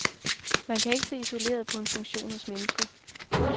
Man kan ikke se isoleret på en funktion hos mennesket.